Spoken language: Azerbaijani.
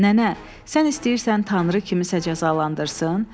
Nənə, sən istəyirsən Tanrı kimsəyə cəzalandırsın?